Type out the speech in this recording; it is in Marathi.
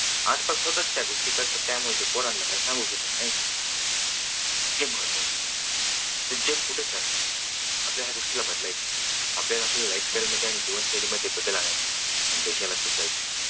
आज काल स्वतःच त्या गोष्टी करतात त्यामुळे ते पोरांना काही सांगू शकत नाहीत. हे महत्त्वाच तर जग कुठे चाललंय. आता या गोष्टीला बदलायचे आपल्याला आपल्या lifestyle मध्ये आणि जीवनशैलीमध्ये बदल आणायचे आणि देशाला सुधरवायचे.